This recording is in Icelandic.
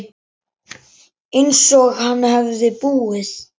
Einsog hann hefði búið.